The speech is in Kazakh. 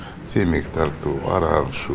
темекі тарту арақ ішу